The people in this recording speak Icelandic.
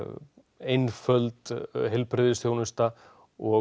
einföld heilbrigðisþjónusta og